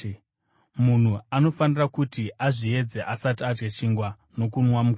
Munhu anofanira kuti azviedze asati adya chingwa nokunwa mukombe.